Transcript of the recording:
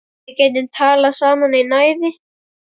Við getum talað saman í næði